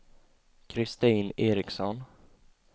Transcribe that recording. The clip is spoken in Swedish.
Kristin Ericson